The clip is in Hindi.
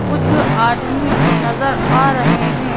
कुछ आदमी नज़र आ रहे हैं।